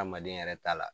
Adamaden yɛrɛ ta la